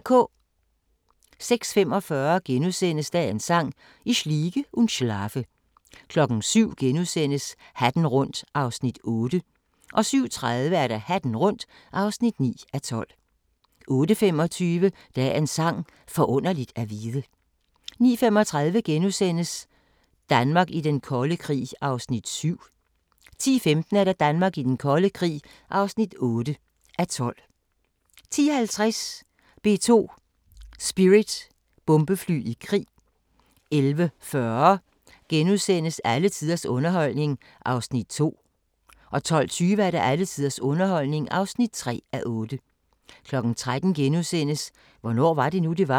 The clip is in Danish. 06:45: Dagens Sang: Ich liege und schlafe * 07:00: Hatten rundt (8:12)* 07:30: Hatten rundt (9:12) 08:25: Dagens Sang: Forunderligt at vide 09:35: Danmark i den kolde krig (7:12)* 10:15: Danmark i den kolde krig (8:12) 10:50: B-2 Spirit bombefly i krig 11:40: Alle tiders underholdning (2:8)* 12:20: Alle tiders underholdning (3:8) 13:00: Hvornår var det nu, det var? *